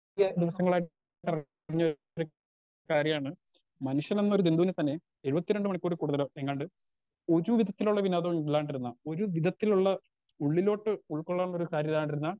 കാര്യാണ് മനുഷ്യനെന്നൊരു ജന്തുവിനെ തന്നെ ഏഴുവത്തിരണ്ട് മണിക്കൂറിൽ കൂടുതല് എങ്ങാണ്ട് ഒരു വിധത്തിലുള്ള വിനോദവും ഇല്ലാണ്ടിരിന്നാ ഒരു വിധത്തിലുള്ള ഉള്ളിലോട്ട് ഉൾകൊള്ളാനുള്ളൊരു സാധ്യത